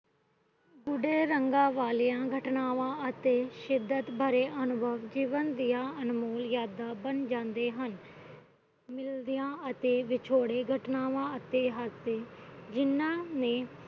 ਰੰਗਾ ਵਾਲੀਆਂ ਘਟਨਾਵਾਂ ਅਤੇ ਸ਼ਿਦਤ ਭਰੇ ਅਨੁਭਰ ਜੀਵਨ ਦੀਆਂ ਅਨਮੋਲ ਜਾਂਦਾ ਬਣ ਜਾਂਦੇ ਹਨ ਮਿਲਦੀਆਂ ਵਿਛੋੜੇ ਘਟਨਾਵਾਂ ਅਤੇ ਜਿਨ੍ਹਾਂ ਨੇ